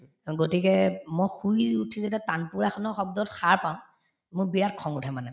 অ, গতিকে মই শুই উঠি যেতিয়া তানপুৰা শব্দত সাৰ পাওঁ মোৰ বিৰাট খং উঠে মানে